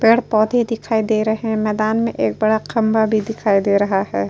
पेड़ पौधे दिखाई दे रहे हैं। मैदान में एक बड़ा खम्बा भी दिखाई दे रहा है।